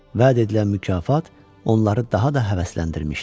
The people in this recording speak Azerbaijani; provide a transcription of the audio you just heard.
Vəd edilən mükafat onları daha da həvəsləndirmişdi.